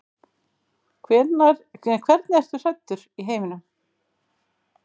Hvernig ertu hræddur í heiminum?